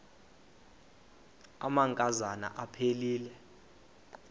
amanka zana aphilele